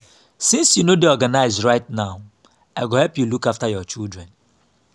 since you no dey organized right now i go help you look after your children